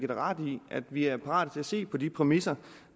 ret nemlig at vi er parate til at se på de præmisser